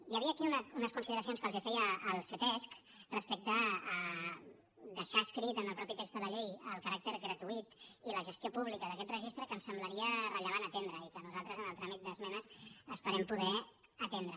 hi havia aquí unes consideracions que els feia el ctesc respecte a deixar escrits en el mateix text de la llei el caràcter gratuït i la gestió pública d’aquest registre que ens semblaria rellevant atendre i que nosaltres en el tràmit d’esmenes esperem poder atendre